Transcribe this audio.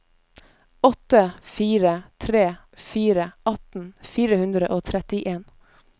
åtte fire tre fire atten fire hundre og trettien